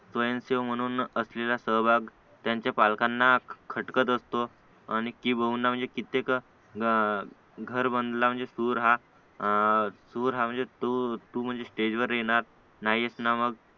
स्वयंसेवक म्हणून असलेला सहभाग त्यांच्या पालकांना खटकत असतो आणि किंबहुना म्हणजे कित्येक घर बनला म्हणजे टूर हा टूर हा म्हणजे टूर टूर स्टेजवर येणार नाहीस ना मग